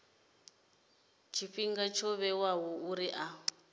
tshifhinga tsho vhewaho uri a